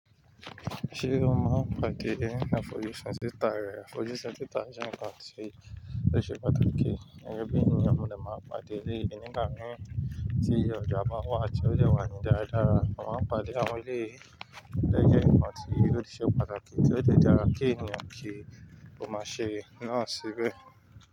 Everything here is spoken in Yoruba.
Ṣé o máa ń pàdé ẹni àfojúsùn síta rẹ, àfojúsùn síta jẹ́ nǹkan tí ó ṣe pàtàkì. Gẹ́gẹ́ bí ènìyàn mo dẹ máa n pàdé eleyii ni igba mii, tí ọ̀jà bá wà tí ó dẹ wà ní dáradára. A máa n pàdé àwọn eléyìí, eléyìí jẹ ǹkan tí o ti ṣe pàtàkì tí ó dẹ dára kí ènìyàn kí ó má ṣe náà síbẹ̀.